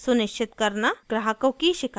ग्राहक की शिकायतों से निपटना और